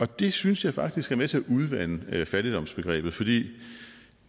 det synes jeg faktisk er med til at udvande fattigdomsbegrebet fordi